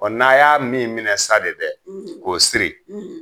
Ɔɔ n'a y'a min minɛ sa de dɛ k'o siri